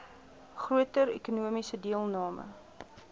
groter ekonomiese deelname